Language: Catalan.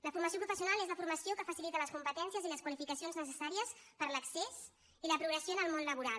la formació professional és la formació que facilita les competències i les qualificacions necessàries per a l’accés i la progressió en el món laboral